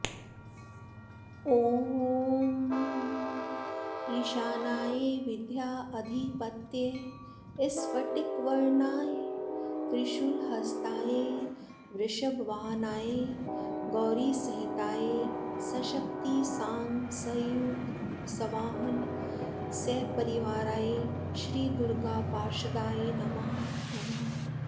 ॐ ईशानाय विद्याधिपतये स्फटिकवर्णाय त्रिशूलहस्ताय वृषभवाहनाय गौरीसहिताय सशक्तिसाङ्गसायुध सवाहन सपरिवाराय श्री दुर्गापार्षदाय नमः